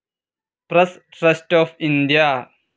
press Trust of India